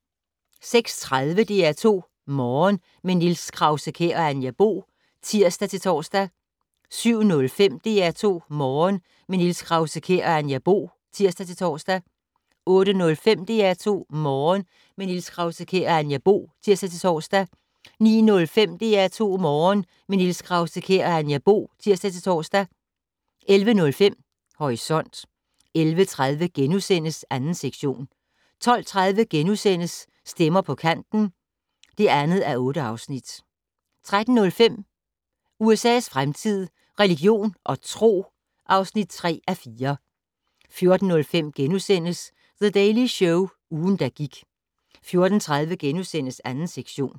06:30: DR2 Morgen - med Niels Krause-Kjær og Anja Bo (tir-tor) 07:05: DR2 Morgen - med Niels Krause-Kjær og Anja Bo (tir-tor) 08:05: DR2 Morgen - med Niels Krause-Kjær og Anja Bo (tir-tor) 09:05: DR2 Morgen - med Niels Krause-Kjær og Anja Bo (tir-tor) 11:05: Horisont 11:30: 2. sektion * 12:30: Stemmer på Kanten (2:8)* 13:05: USA's fremtid - religion og tro (3:4) 14:05: The Daily Show - ugen, der gik * 14:30: 2. sektion *